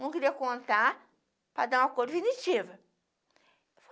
Não queria contar para dar uma coisa definitiva.